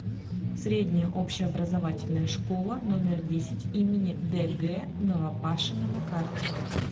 средняя общеобразовательная школа номер десять им дг новопашина на карте